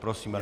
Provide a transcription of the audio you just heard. Prosím.